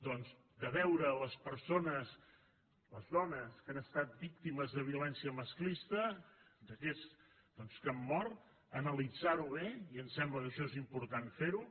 doncs de veure les persones les dones que han estat víctimes de violència masclista d’aquestes que han mort analitzar ho bé i em sembla que això és important fer ho